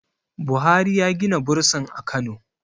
buhari ya Gina bursin a Kano